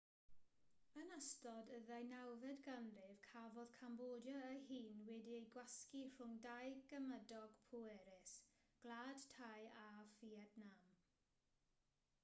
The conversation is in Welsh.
yn ystod y ddeunawfed ganrif cafodd cambodia ei hun wedi'i gwasgu rhwng dau gymydog pwerus gwlad thai a fietnam